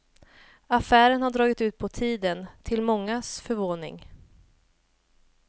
Affären har dragit ut på tiden, till mångas förvåning.